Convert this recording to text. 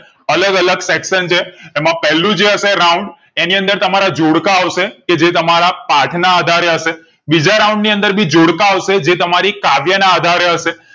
અલગ અલગ section છે એમાં પેલું જે હશે round એની અંદર તમારા જોડકા આવશે કે જે તમારા પાઠ ના આધારે હશે બીજા round ભી જોડકા આવશે જે તમારી કાવ્ય ના આધારે હશે